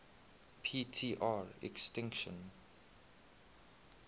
p tr extinction